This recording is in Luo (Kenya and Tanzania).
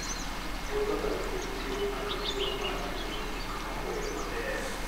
wuodh ngamia miyo ng'ato thuolo mar neno gik moko e yo maber